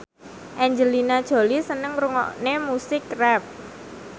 Angelina Jolie seneng ngrungokne musik rap